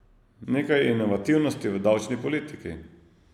Nekaj inovativnosti v davčni politiki.